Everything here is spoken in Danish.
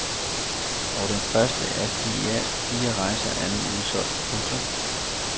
Og den første af de i alt fire rejser er nu udsolgt. punktum